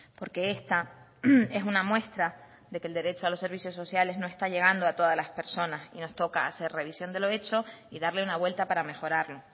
porque esta es una muestra de que el derecho a los servicios sociales no está llegando a todas las personas y nos toca hacer revisión de los hechos y darle una vuelta para mejorarlo